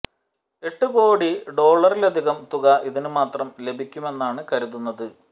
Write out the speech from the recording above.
എട്ട് കോടി ഡോളറിലധികം തുക ഇതിന് മാത്രം ലഭിക്കുമെന്നാണ് കരുതുന്നത്